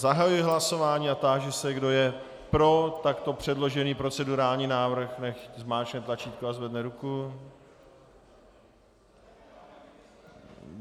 Zahajuji hlasování a táži se, kdo je pro takto předložený procedurální návrh, nechť zmáčkne tlačítko a zvedne ruku.